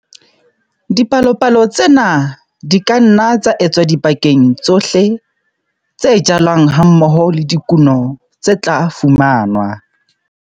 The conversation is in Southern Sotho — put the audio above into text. Dipalopalo tsena di ka nna tsa etswa dibakeng tsohle tse jalwang hammoho le dikuno tse tla fumanwa.